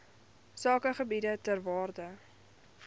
sakegebiede ter waarde